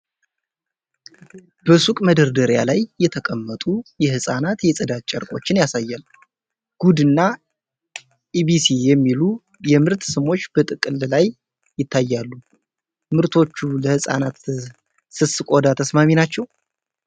በሱቅ መደርደሪያ ላይ የተቀመጡ የሕፃናት የጽዳት ጨርቆችን ያሳያል። "ጉድ" እና ኢቢሲ "የሚሉ የምርት ስሞች በጥቅል ላይ ይታያሉ። ምርቶቹ ለሕፃናት ስስ ቆዳ ተስማሚ ናቸው?